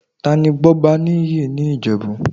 Tani Gbọ́baníyì ní Ìjẹ̀bú?